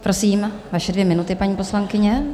Prosím, vaše dvě minuty, paní poslankyně.